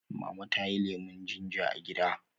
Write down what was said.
Mama tayi lemun ginger a gida